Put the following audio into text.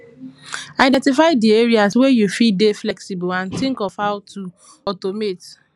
identify di areas wey you fit dey flexible and think of how to automate